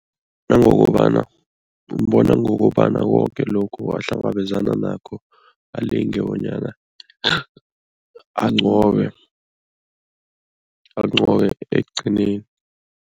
Nangokobana umbona ngokobana koke lokhu ahlangabezana nakho alinge bonyana anqobe anqobe ekugcineni.